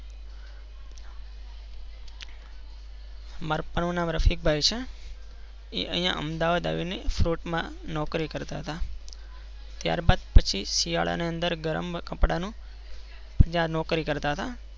માર પાપા નું નામ રસિક ભાઈ છે. એ અહિયાં અમદાવાદ આવી ને Fruit માં નોકરી કરતા હતા ત્યાર બાદ પછી શિયાળા માં ગરમ કપડા માં નોકરી કરતા હતા.